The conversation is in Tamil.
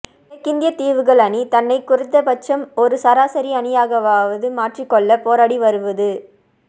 மேற்கிந்தியத் தீவுகள் அணி தன்னைக் குறைந்தபட்சம் ஒரு சராசரி அணியாகவாவது மாற்றிக்கொள்ளப் போராடி வருவது